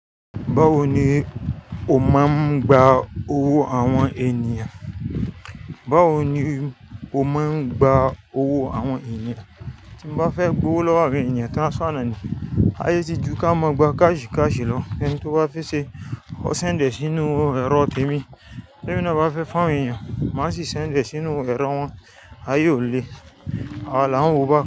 Báwo ni o máa ń gba owó àwọn ènìyàn? Báwo ni o máa ń gba owó àwọn ènìyàn? Tí mo bá fẹ́ gbowó lọ́wọ́ àwọn ènìyàn tán ṣọ́nà ni, a yí sì jú kí a máa gba káàṣì káàṣì lọ. Ẹni tí ó bá fẹ́ ṣe, ó ṣì ń dẹ̀ sínú ẹrọ tèmi. Ẹni tí ó bá fẹ́ fún àwọn ènìyàn, má sì ń ṣenfie sínú ẹrọ wọn, aye o le, awa la wó bá.